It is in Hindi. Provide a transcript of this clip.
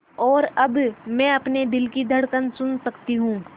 और अब मैं अपने दिल की धड़कन सुन सकती हूँ